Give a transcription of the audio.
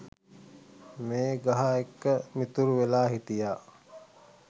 මේ ගහ එක්ක මිතුරු වෙලා හිටියා.